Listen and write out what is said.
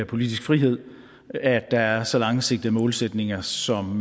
politisk frihed at der er så langsigtede målsætninger som